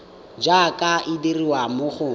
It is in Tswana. jaaka e dirwa mo go